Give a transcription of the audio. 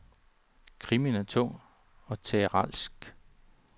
Krimien er tung og teatralsk.